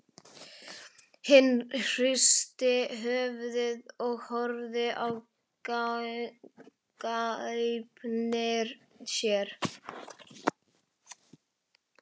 Hann hristi höfuðið og horfði í gaupnir sér.